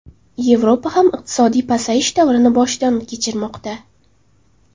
Yevropa ham iqtisodiy pasayish davrini boshidan kechirmoqda.